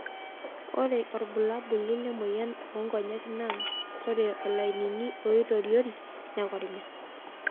Ore olbulabulli lemoyian oonkonyek naa ore lainini oitoriori nekorinya.